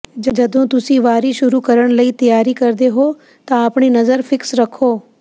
ਜਦੋਂ ਤੁਸੀਂ ਵਾਰੀ ਸ਼ੁਰੂ ਕਰਨ ਲਈ ਤਿਆਰੀ ਕਰਦੇ ਹੋ ਤਾਂ ਆਪਣੀ ਨਜ਼ਰ ਫਿਕਸ ਰੱਖੋ